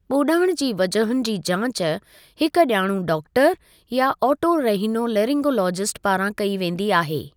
ॿोड़ाणि जी वजहुनि जी जांच हिक ॼाणू डाक्टरु या ऑटोरहिनोलेरिंगोलोजिस्ट पारां कई वेंदी आहे।